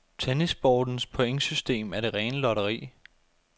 Tennissportens pointsystem er det rene lotteri.